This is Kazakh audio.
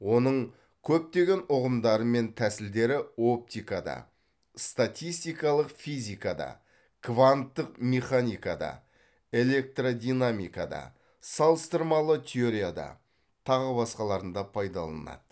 оның көптеген ұғымдары мен тәсілдері оптикада статистикалық физикада кванттық механикада электрдинамикада салыстырмалы теорияда тағы басқаларында пайдаланылады